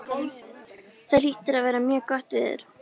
Það hlýtur að vera mjög gott veður.